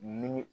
Ni